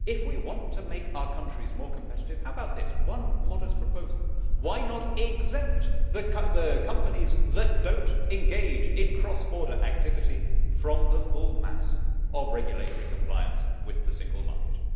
If we want to make our countries more competitive, how about the following modest proposal why not exempt the companies that do not engage in cross border activity from the full mass of regulatory compliance with the single market?